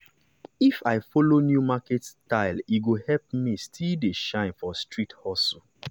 if i follow new market style e go help me still dey shine for street hustle.